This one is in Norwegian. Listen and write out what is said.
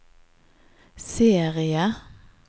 serie